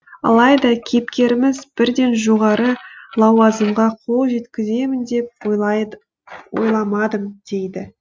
алайда кейіпкеріміз бірден жоғары лауазымға қол жеткіземін деп ойламадым дейді